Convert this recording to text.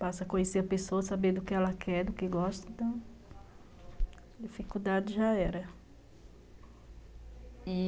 passa a conhecer a pessoa, saber do que ela quer, do que gosta, então a dificuldade já era.